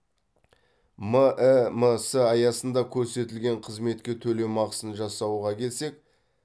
мәмс аясында көрсетілген қызметке төлем ақысын жасауға келсек